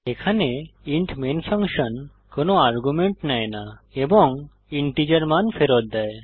এখানে int main function কোনো argument নেয় না এবং ইন্টিজার মান ফেরত দেয়